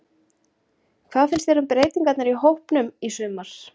Hvað finnst þér um breytingarnar á hópnum í sumar?